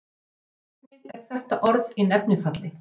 hvernig er þetta orð í nefnifalli